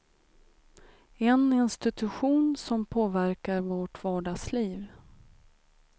En institution som påverkar vårt vardagsliv.